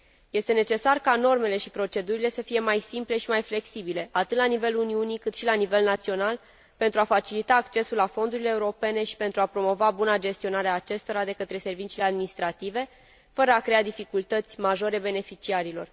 Este necesar ca normele și procedurile să fie mai simple și mai flexibile, atât la nivelul Uniunii, cât și la nivel național, pentru a facilita accesul la fondurile europene și pentru a promova buna gestionare a acestora de către serviciile administrative, fără a crea dificultăți majore beneficiarilor.